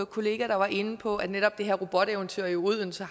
kollega der var inde på at netop det her roboteventyr i odense